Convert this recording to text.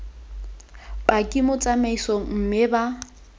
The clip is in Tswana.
paki mo tsamaisong mme ba